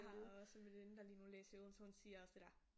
Jeg har også en veninde der lige nu læser i Odense og hun siger også det der